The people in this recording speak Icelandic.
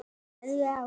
Það var hrollur í mér.